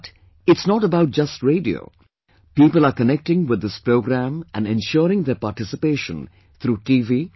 But it's not about just radio... people are connecting with this programme and ensuring their participation through T